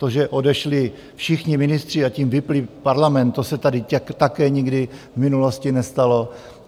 To, že odešli všichni ministři, a tím vypnuli parlament, to se tady také nikdy v minulosti nestalo.